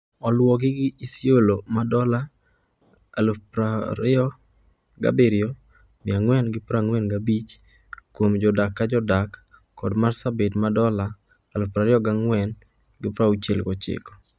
Oluwogi gi Isiolo ma dola 27,445 kuom jodak ka jodak kod marsabit ma dola 24,069.